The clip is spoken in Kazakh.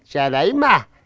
жарай ма